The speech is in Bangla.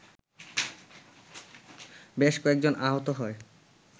বেশ কয়েকজন আহত হয়